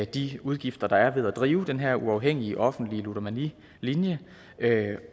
de udgifter der er ved at drive den her uafhængige offentlige ludomanilinje